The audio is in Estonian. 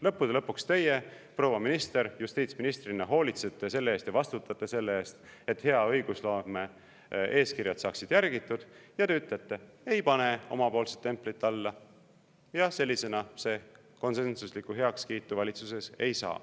Lõppude lõpuks teie, proua minister, justiitsministrina hoolitsete selle eest ja vastutate selle eest, et hea õigusloome eeskirjad saaksid järgitud, ja te ütlete, et ei pane omapoolset templit alla ja sellisena see konsensuslikku heakskiitu valitsuses ei saa.